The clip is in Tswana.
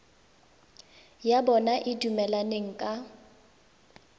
ya bona e dumelaneng ka